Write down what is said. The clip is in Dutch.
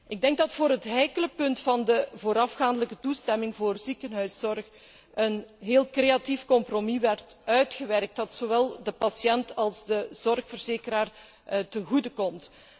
Ik denk dat voor het heikele punt van de voorafgaande toestemming voor ziekenhuiszorg een heel creatief compromis werd uitgewerkt dat zowel de patiënt als de zorgverzekeraar ten goede komt.